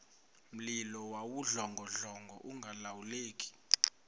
mlilo wawudlongodlongo ungalawuleki